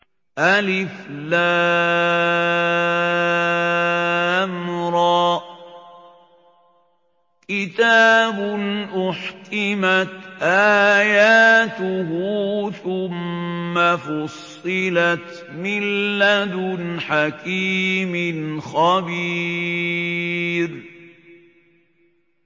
الر ۚ كِتَابٌ أُحْكِمَتْ آيَاتُهُ ثُمَّ فُصِّلَتْ مِن لَّدُنْ حَكِيمٍ خَبِيرٍ